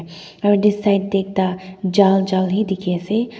aru yate side tae ekta jal jal he dikhiase.